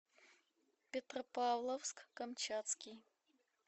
петропавловск камчатский